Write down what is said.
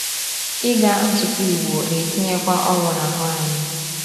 Ịga nzukọ Igbo na-etinyekwa ọrụ n’ahụ anyị.